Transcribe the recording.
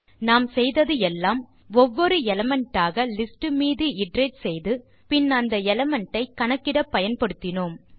நாம் செய்தது எல்லாம் ஒவ்வொரு எலிமெண்ட் ஆக லிஸ்ட் மீது இட்டரேட் செய்து பின் அந்த எலிமெண்ட் ஐ கணக்கிட பயன்படுத்தினோம்